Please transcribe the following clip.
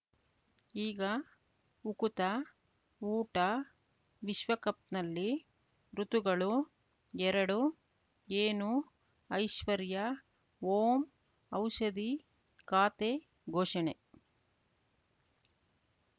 ಈಗ ಉಕುತ ಊಟ ವಿಶ್ವಕಪ್‌ನಲ್ಲಿ ಋತುಗಳು ಎರಡು ಏನು ಐಶ್ವರ್ಯಾ ಓಂ ಔಷಧಿ ಖಾತೆ ಘೋಷಣೆ